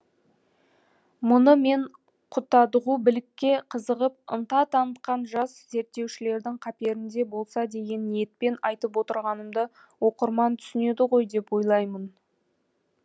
мұны мен құтадғу білікке қызығып ынта танытқан жас зерттеушілердің қаперінде болса деген ниетпен айтып отырғанымды оқырман түсінеді ғой деп ойлаймын